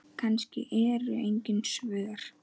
Kannski eru engin svör.